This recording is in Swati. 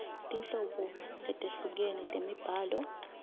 tinhlobo letehlukene temibhalo